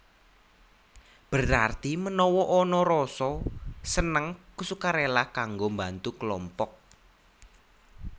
Berarti menawa ana rasa seneng ksukarela kanggo mbantu kelompok